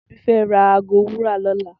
Tobi fè rà àgó wúrà lòlá